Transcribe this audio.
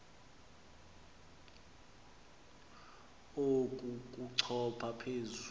oku kochopha phezu